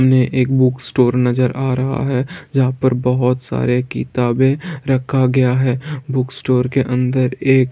-- ने एक book store नजर आ रहा है जहां पर बहुत सारे किताबें रखा गया है बुक स्टोर के अंदर एक --